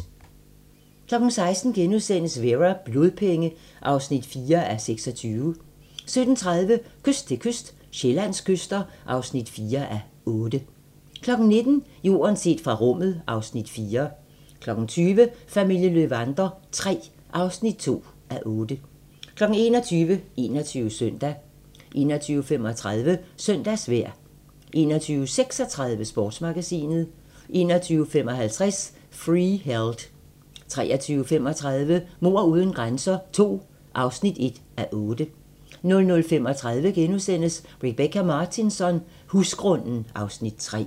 16:00: Vera: Blodpenge (4:26)* 17:30: Kyst til kyst - Sydsjællands kyster (4:8) 19:00: Jorden set fra rummet (Afs. 4) 20:00: Familien Löwander III (2:8) 21:00: 21 Søndag 21:35: Søndagsvejr 21:36: Sportsmagasinet 21:55: Freeheld 23:35: Mord uden grænser II (1:8) 00:35: Rebecka Martinsson: Husgrunden (Afs. 3)*